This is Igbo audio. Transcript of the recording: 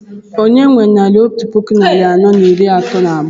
Onye nwe naira otú puku narị anọ iri itoolu na abụọ?